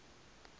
kuvunyelwa kwa r